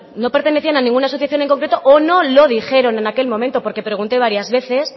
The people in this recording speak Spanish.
no pertenecían a ninguna asociación en concreto o no lo dijeron en aquel momento porque pregunté varias veces